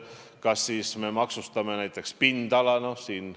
Kas me siis maksustame näiteks pindala?